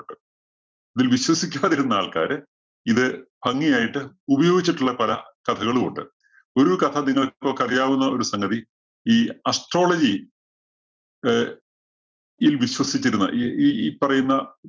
ഇതില്‍ വിശ്വസിക്കാതിരുന്ന ആള്‍ക്കാര് ഇത് ഭംഗിയായിട്ട് ഉപയോഗിച്ചിട്ടുള്ള പല കഥകളും ഉണ്ട്. ഒരു കഥ നിങ്ങള്‍ക്കൊക്കെ അറിയാവുന്ന ഒരു സംഗതി ഈ astrology അഹ് ഇല്‍ വിശ്വസിച്ചിരുന്ന ഈ, ഈ, ഈ പറയുന്ന